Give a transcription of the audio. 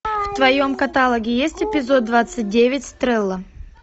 в твоем каталоге есть эпизод двадцать девять стрела